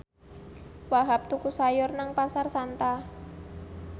Wahhab tuku sayur nang Pasar Santa